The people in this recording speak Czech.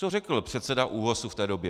Co řekl předseda ÚOHS v té době?